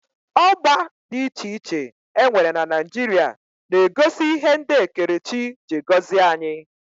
Ọgba dị iche iche e nwere na Naijiria na-egosi ihe ndị ekerechi ji gọzie anyị